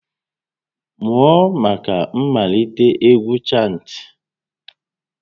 Mụọ maka mmalite égwú chantị!